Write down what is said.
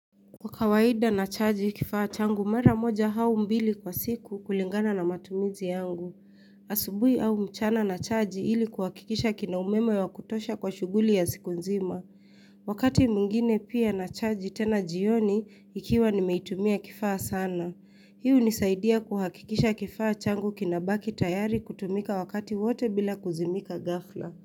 Kwa kawaida nachaji kifaa changu mara moja au mbili kwa siku kulingana na matumizi yangu. Asubuhi au mchana nachaji ili kuhakikisha kina umeme wa kutosha kwa shughuli ya siku nzima. Wakati mwingine pia nachaji tena jioni ikiwa nimeitumia kifaa sana. Hii hunisaidia kuhakikisha kifaa changu kinabaki tayari kutumika wakati wote bila kuzimika ghafla.